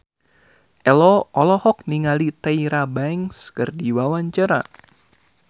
Ello olohok ningali Tyra Banks keur diwawancara